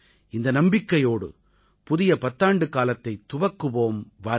இந்த நம்பிக்கையோடு புதிய பத்தாண்டுக்காலத்தைத் துவக்குவோம் வாருங்கள்